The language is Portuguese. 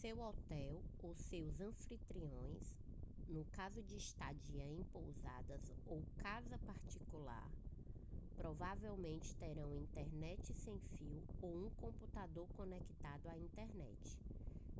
seu hotel ou seus anfitriões no caso de estadia em pousada ou casa particular provavelmente terão internet sem fio ou um computador conectado à internet